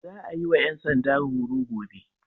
Za a yi wa 'yan sanda horo gobe.